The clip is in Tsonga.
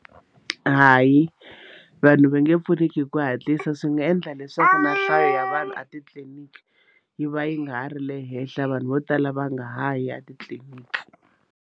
Hayi vanhu va nge pfuneki hi ku hatlisa swi nga endla leswaku na nhlayo ya vanhu a titliniki yi va yi nga ha ri le henhla vanhu vo tala va nga ha yi etitliliniki.